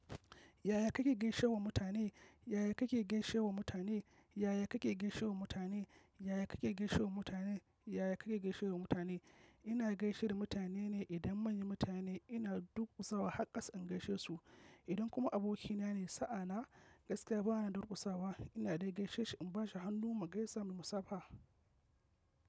Yaya kake gaishewa mutane? Yaya kake gaishewa mutane? Yaya kake gaishewa mutane? Yaya kake gaishewa mutane? Yaya kake gaishewa mutane? Ina gaishe da mutane ne. Idan manyan mutane ina durƙusawa har ƙasa in gaishe su. Idan kuma abokina ne, sa'ana gaskiya bana durƙusawa. Ina dai gaishe shi in bashi hannu mu gaisa mui musafa, a.